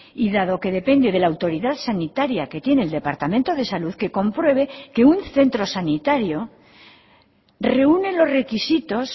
y dado que depende de la autoridad sanitaria que tiene el departamento de salud que compruebe que un centro sanitario reúne los requisitos